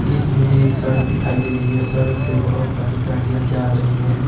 इसमें एक सड़क दिखाई दे रही है सड़क से बहोत सारी गाड़ियां जा रही है।